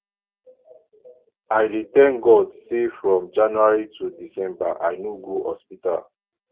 i dey tank god sey from january to december i no go hospital